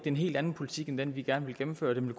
en helt anden politik end den vi gerne vil gennemføre den vil